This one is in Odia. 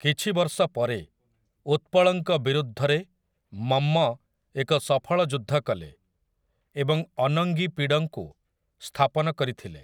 କିଛି ବର୍ଷ ପରେ, ଉତ୍ପଳଙ୍କ ବିରୁଦ୍ଧରେ ମମ୍ମ ଏକ ସଫଳ ଯୁଦ୍ଧ କଲେ, ଏବଂ ଅନଙ୍ଗିପିଡ଼ଙ୍କୁ ସ୍ଥାପନ କରିଥିଲେ ।